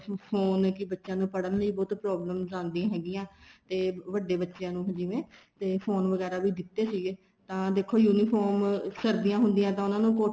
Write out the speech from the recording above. phone ਕੀ ਬੱਚਿਆ ਨੂੰ ਪੜ੍ਹਣ ਲਈ ਬੱਚਿਆ ਨੂੰ ਬਹੁਤ problem ਆਦੀਆਂ ਹੈਗੀਆਂ ਤੇ ਵੱਡੇ ਬੱਚਿਆ ਨੂੰ ਜਿਵੇਂ ਤੇ ਫੋਨ ਵਗੈਰਾ ਵੀ ਦਿੱਤੇ ਸੀਗੇ ਤਾਂ ਦੇਖੋ uniform ਸਰਦੀਆਂ ਹੁੰਦੀਆਂ ਤਾਂ ਉਹਨਾ ਨੂੰ ਕੋਟੀਆਂ